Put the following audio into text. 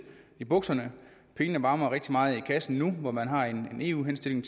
i bukserne pengene varmer rigtig meget i kassen nu hvor man har en eu henstilling